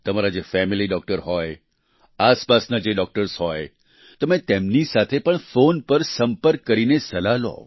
તમારા જે family doctor હોય આસપાસના જે ડોક્ટર્સ હોય તમે તેમની સાથે ફોન પર સંપર્ક કરીને સલાહ લો